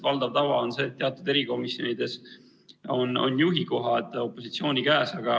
Valdav tava on see, et teatud erikomisjonides on juhikoht opositsiooni käes.